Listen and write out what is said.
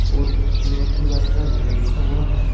और inverter battery भी रखा हुआ है।